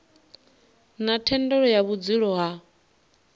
na thendelo ya vhudzulo ha